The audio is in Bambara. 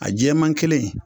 A jɛman kelen in